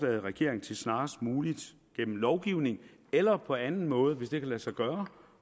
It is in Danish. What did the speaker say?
regeringen til snarest muligt gennem lovgivning eller på anden måde hvis det kan lade sig gøre